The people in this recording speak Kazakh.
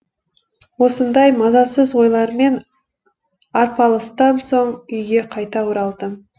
осындай мазасыз ойлармен арпалыстан соң үйге қайта оралдым